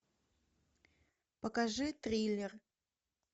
покажи триллер